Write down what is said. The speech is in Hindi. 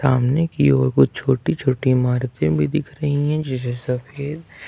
सामने की और कुछ छोटी छोटी इमारतें भी दिख रही है जैसे सफेद।